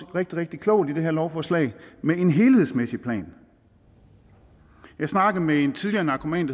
rigtig rigtig klogt i det her lovforslag med en helhedsmæssig plan jeg snakkede med en tidligere narkoman